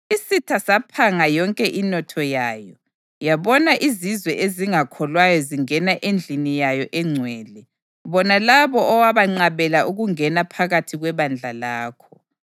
Isitha saphanga yonke inotho yayo; yabona izizwe ezingakholwayo zingena endlini yayo engcwele, bona labo owabanqabela ukungena phakathi kwebandla lakho.